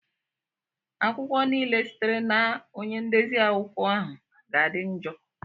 akwụkwọ niile sitere na onye ndezi akụkọ ahụ ga-adị njọ.